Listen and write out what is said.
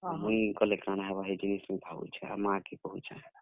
ମୁଇଁ ଗଲେ କାଣା ହେବା ଯେ କହୁଛେଁ, ଆଉ ମା କେ କହୁଛେଁ।